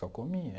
Só comia.